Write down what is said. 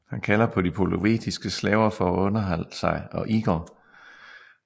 Han kalder på de polovetiske slaver for at underholde sig og Igor